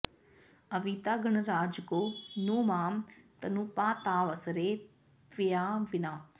अविता गणराज को नु मां तनुपातावसरे त्वया विना